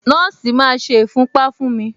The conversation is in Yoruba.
Nọ́ọ̀sì máa ṣe ìfúnpá fún mi.